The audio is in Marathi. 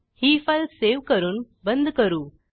ही फाईल सेव्ह करून बंद करू